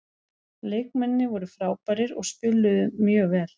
Leikmennirnir voru frábærir og spiluðu mjög vel.